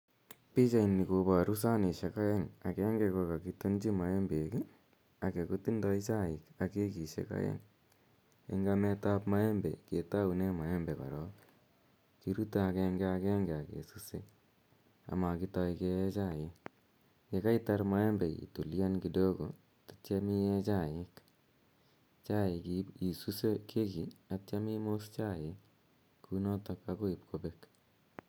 Pichaini koparu sanishek aeng'. Agenge ko kakitonchi maembek age kotindai chaik ak kekishek aeng'. Eng' amet ap maembe ketaune maembe korok, kirute agenge agenge ak kesuse ama kitai ke ee chaik. Ye kaitar maembe itulian kidogo atiam i ee chaik. Chaik isuse keki atiam imos chaik kou notok akoi ip kopek.